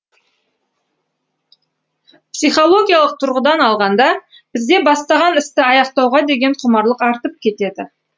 психологиялық тұрғыдан алғанда сізде бастаған істі аяқтауға деген құмарлық артып кетеді